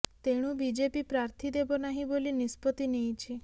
ତେଣୁ ବିଜେପି ପ୍ରାର୍ଥୀ ଦେବ ନାହିଁ ବୋଲି ନିଷ୍ପତ୍ତି ନେଇଛି